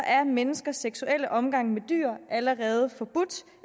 er menneskers seksuelle omgang med dyr allerede forbudt